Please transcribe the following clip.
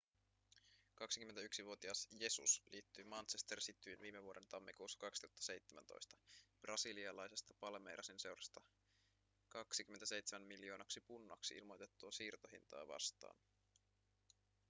21-vuotias jesus liittyi manchester cityyn viime vuoden tammikuussa 2017 brasilialaisesta palmeirasin seurasta 27 miljoonaksi punnaksi ilmoitettua siirtohintaa vastaan